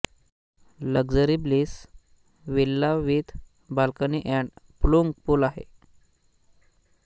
luxury bliss villa with balcony and plunge pool आहे